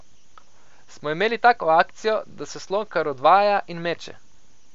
Smo imeli tako akcijo, da se Slokar odvaja in meče.